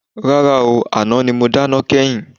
Rárá ooo, àná ni mo dáná kẹ́yìn.